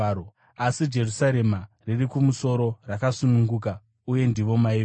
Asi Jerusarema riri kumusoro rakasununguka, uye ndivo mai vedu.